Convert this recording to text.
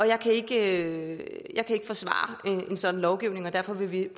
jeg kan ikke forsvare en sådan lovgivning og derfor vil vi